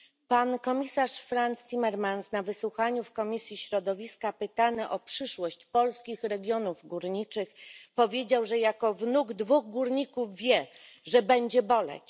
Pan komisarz Frans Timmermans na wysłuchaniu w Komisji Środowiska, pytany o przyszłość polskich regionów górniczych, powiedział, że jako wnuk dwóch górników wie, że będzie boleć.